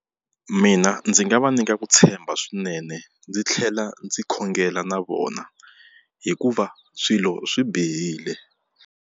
Mina ndzi nga va nyika ku tshemba swinene ndzi tlhela ndzi khongela na vona hikuva swilo swi bihile.